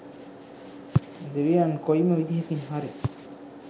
දෙවියන් කොයිම විදිහකින් හරි